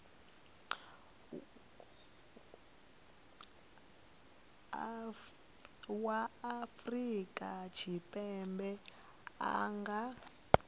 wa afrika tshipembe a nga